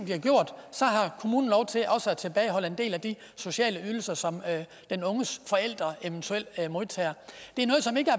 så har kommunen lov til at tilbageholde en del af de sociale ydelser som den unges forældre eventuelt modtager det